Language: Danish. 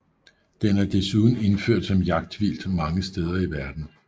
Den er desuden indført som jagtvildt mange steder i verden